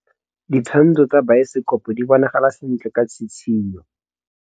Ditshwantshô tsa biosekopo di bonagala sentle ka tshitshinyô.